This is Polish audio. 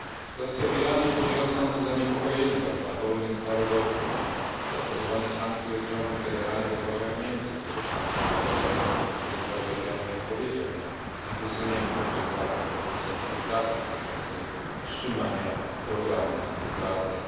Sytuacja w Iranie budzi rosnące zaniepokojenie, także na forum międzynarodowym. Zastosowanie sankcji wobec rządu w Teheranie rozważają Niemcy, których kanclerz Angela Merkel stwierdziła, że Iran nie odpowiedział na wysuniętą przez Zachód propozycję współpracy dotyczącej wstrzymania programu nuklearnego.